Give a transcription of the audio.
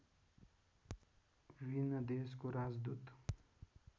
विभिन्न देशको राजदूत